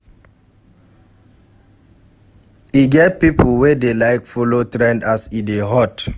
E get pipo wey dey like follow trend as e dey hot